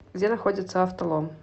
где находится автолом